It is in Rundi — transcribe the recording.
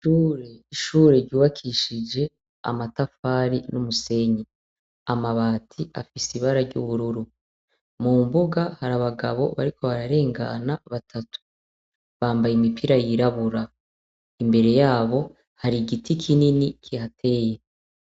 Ishure ryubakishije amatafari n'umusenyi, amabati afise ibara ry'ubururu, mu mbuga hari abagabo bariko barengana batatu bambaye imipira yirabura, imbere yabo hari igiti kinini kihateye.